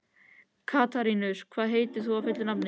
Katarínus, hvað heitir þú fullu nafni?